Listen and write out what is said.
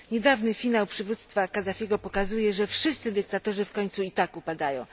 Niedawny finał przywództwa Kadafiego pokazuje, że wszyscy dyktatorzy i tak upadają.